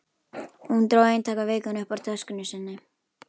Hún dró eintak af Vikunni upp úr töskunni sinni.